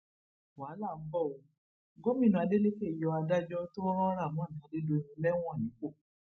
wàhálà ń bọ ọ gómìnà adeleke yọ adájọ tó ran rahman adédọyìn lẹwọn nípò